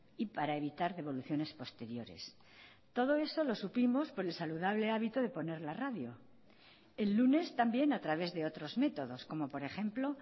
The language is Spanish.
y para evitar devoluciones posteriores todo eso lo supimos por el saludable hábito de poner la radio el lunes también a través de otros métodos como por ejemplo